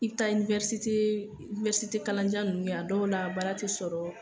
I bi taa kalanjan ninnu kɛ, a dɔw la baara yɛrɛ ti sɔrɔ.